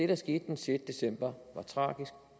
der skete den sjette december var tragisk